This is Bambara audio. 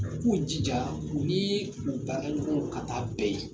U K'u jija u nii u baara ɲɔgɔnw ka taa bɛn ye